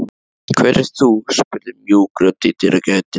Hver ert þú? spurði mjúk rödd í dyragættinni.